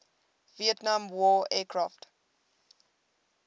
vietnam war aircraft